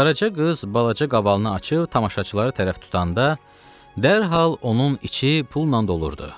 Qaraca qız balaca qavalını açıb tamaşaçılara tərəf tutanda, dərhal onun içi pulla dolurdu.